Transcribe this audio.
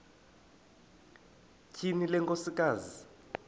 tyhini le nkosikazi